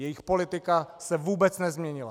Jejich politika se vůbec nezměnila.